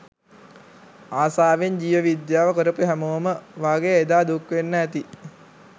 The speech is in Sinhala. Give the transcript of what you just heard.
ආසාවෙන් ජීව විද්‍යාව කරපු හැමෝම වගේ එදා දුක් වෙන්න ඇති.